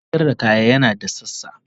kantin sayar da kaya yana da sassa.